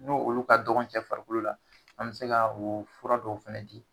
N' olu ka dɔgɔn cɛ farikolo la, an mi se ka o fura dɔw fɛnɛ di